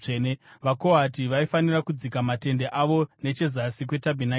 VaKohati vaifanira kudzika matende avo nechezasi kwetabhenakeri.